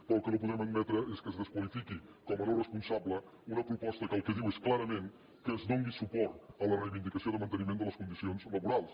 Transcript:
però el que no podem admetre és que es desqualifiqui com a no responsable una proposta que el que diu és clarament que es doni suport a la reivindicació de manteniment de les condicions laborals